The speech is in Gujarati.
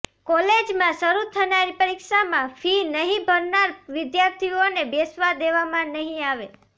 કોલેજમાં શરૂ થનારી પરીક્ષામાં ફી નહીં ભરનાર વિદ્યાર્થીઓને બેસવા દેવમાં નહીં આવે